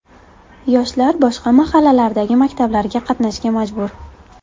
Yoshlar boshqa mahallalardagi maktablarga qatnashga majbur.